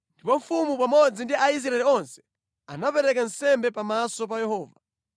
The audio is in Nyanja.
Ndipo mfumu pamodzi ndi Aisraeli onse anapereka nsembe pamaso pa Yehova.